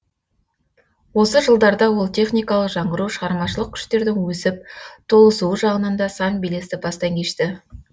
осы жылдарда ол техникалық жаңғыру шығармашылық күштердің өсіп толысуы жағынан да сан белесті бастан кешті